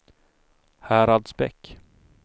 Häradsbäck